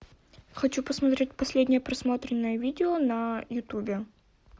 хочу посмотреть последнее просмотренное видео на ютубе